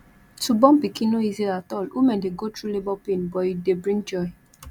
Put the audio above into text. to born pikin no easy at all women de go through labour pain but e dey bring joy